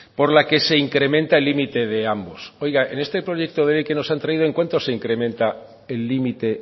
por la que se incrementa el límite de ambos oiga en este proyecto de ley que nos han traído en cuántos se incrementa el límite